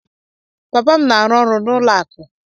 Papa m na-arụ ọrụ n'ụlọ akụ